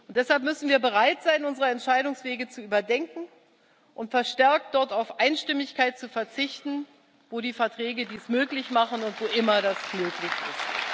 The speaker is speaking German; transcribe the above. Deshalb müssen wir bereit sein, unsere Entscheidungswege zu überdenken und verstärkt dort auf Einstimmigkeit zu verzichten, wo die Verträge dies möglich machen und wo immer das möglich ist.